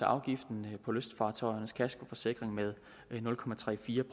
afgiften på lystfartøjernes kaskoforsikring med nul